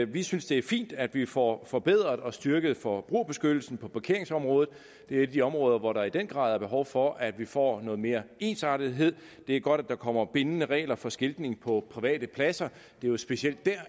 vi synes det er fint at vi får forbedret og styrket forbrugerbeskyttelsen på parkeringsområdet det er et af de områder hvor der i den grad er behov for at vi får noget mere ensartethed det er godt at der kommer bindende regler for skiltning på private pladser det er jo specielt der